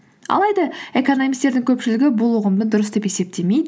алайда экономисттердің көпшілігі бұл ұғымды дұрыс деп есептемейді